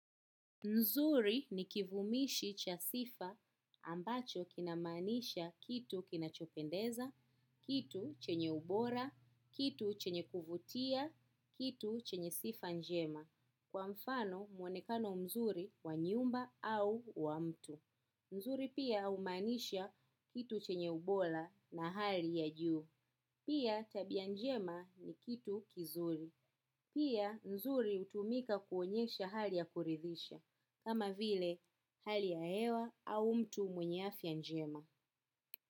Nzuri ni kivumishi cha sifa ambacho kinamaanisha kitu kinachopendeza, kitu chenye ubora, kitu chenye kuvutia, kitu chenye sifa njema. Kwa mfano mwonekano mzuri wa nyumba au wa mtu. Nzuri pia humaanisha kitu chenye ubora na hali ya juu. Pia tabia njema ni kitu kizuri. Pia nzuri hutumika kuonyesha hali ya kuridhisha. Kama vile hali ya hewa au mtu mwenye afya njema.